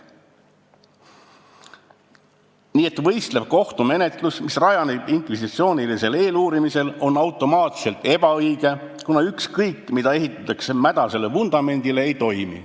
Nii et võistlev kohtumenetlus, mis rajaneb inkvisitsioonilisel eeluurimisel, on automaatselt ebaõige, kuna ükskõik, mida ehitada mädasele vundamendile, see ei toimi.